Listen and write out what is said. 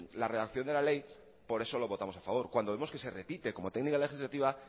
la reacción de la ley por eso lo votamos a favor cuando vemos que se repite como técnica legislativa